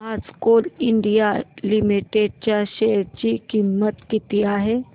आज Coal India Limited च्या share ची किंमत किती आहे